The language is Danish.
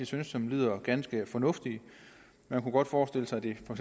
synes lyder ganske fornuftige man kunne godt forestille sig at de for